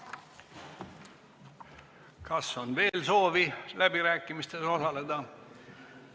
Kas on veel soovi läbirääkimistes osaleda?